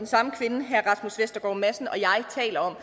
samme kvinde herre rasmus vestergaard madsen og jeg taler om